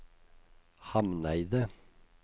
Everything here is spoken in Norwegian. Hamneidet